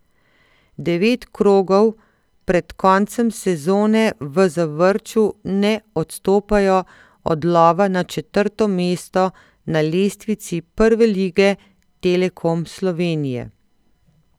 Devet krogov pred koncem sezone v Zavrču ne odstopajo od lova na četrto mesto na lestvici Prve lige Telekom Slovenije.